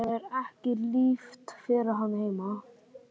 Það er ekki líft fyrir hann heima.